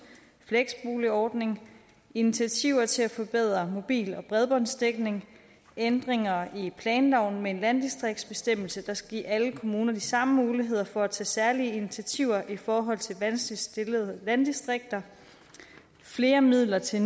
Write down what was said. fleksboligordning initiativer til at forbedre mobil og bredbåndsdækning ændringer i planloven med en landdistriktsbestemmelse der skal give alle kommuner de samme muligheder for at tage særlige initiativer i forhold til vanskeligt stillede landdistrikter flere midler til